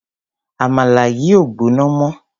Àmàlà yìí ò gbóná mọ́.